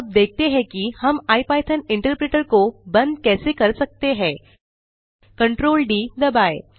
अब देखते हैं कि हम इपिथॉन इंटरप्रेटर को बंद कैसे कर सकते हैं Ctrl D दबाएँ